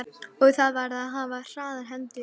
Og þar varð að hafa hraðar hendur.